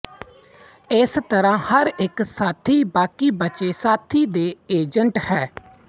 ਇਸ ਤਰ੍ਹਾਂ ਹਰ ਇੱਕ ਸਾਥੀ ਬਾਕੀ ਬਚੇ ਸਾਥੀ ਦੇ ਏਜੰਟ ਹੈ